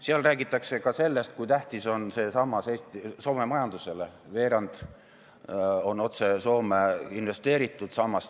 Seal räägitakse ka sellest, kui tähtis on see sammas Soome majandusele, veerand sellest on investeeritud otse Soomesse.